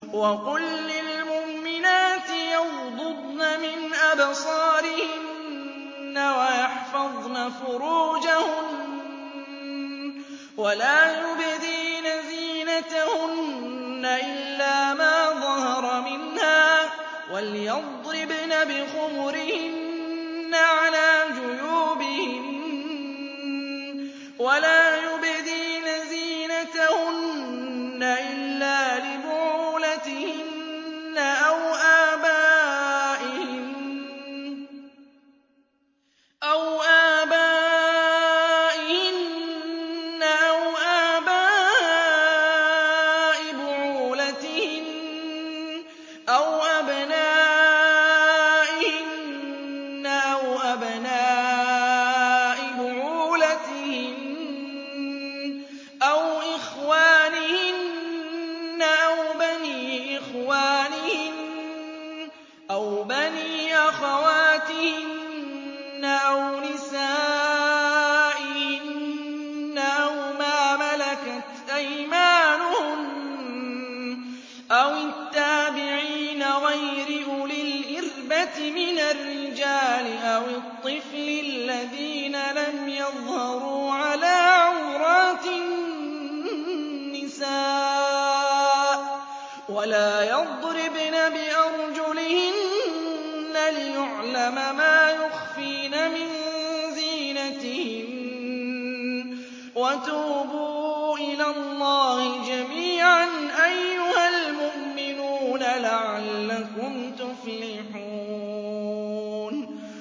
وَقُل لِّلْمُؤْمِنَاتِ يَغْضُضْنَ مِنْ أَبْصَارِهِنَّ وَيَحْفَظْنَ فُرُوجَهُنَّ وَلَا يُبْدِينَ زِينَتَهُنَّ إِلَّا مَا ظَهَرَ مِنْهَا ۖ وَلْيَضْرِبْنَ بِخُمُرِهِنَّ عَلَىٰ جُيُوبِهِنَّ ۖ وَلَا يُبْدِينَ زِينَتَهُنَّ إِلَّا لِبُعُولَتِهِنَّ أَوْ آبَائِهِنَّ أَوْ آبَاءِ بُعُولَتِهِنَّ أَوْ أَبْنَائِهِنَّ أَوْ أَبْنَاءِ بُعُولَتِهِنَّ أَوْ إِخْوَانِهِنَّ أَوْ بَنِي إِخْوَانِهِنَّ أَوْ بَنِي أَخَوَاتِهِنَّ أَوْ نِسَائِهِنَّ أَوْ مَا مَلَكَتْ أَيْمَانُهُنَّ أَوِ التَّابِعِينَ غَيْرِ أُولِي الْإِرْبَةِ مِنَ الرِّجَالِ أَوِ الطِّفْلِ الَّذِينَ لَمْ يَظْهَرُوا عَلَىٰ عَوْرَاتِ النِّسَاءِ ۖ وَلَا يَضْرِبْنَ بِأَرْجُلِهِنَّ لِيُعْلَمَ مَا يُخْفِينَ مِن زِينَتِهِنَّ ۚ وَتُوبُوا إِلَى اللَّهِ جَمِيعًا أَيُّهَ الْمُؤْمِنُونَ لَعَلَّكُمْ تُفْلِحُونَ